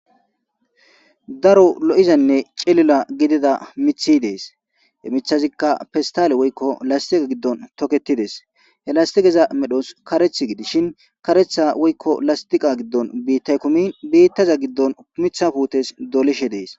daro lo7izanne celila gidida mithi dees he mithazikka festale woykko lastiqa giddon toketides he lastigeza medhos kareth gidishin karetha woykko lastiqa giddon biittay komin biittaza giddon mitha putes doleshe dees